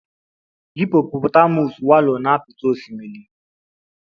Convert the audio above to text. Hippopotamus wallow na apịtị osimiri.